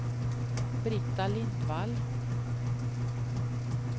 Brita Lindvall